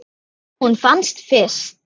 Hún fannst fyrst.